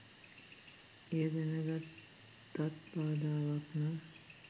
එය දැනගත්තත් බාධාවක් නම්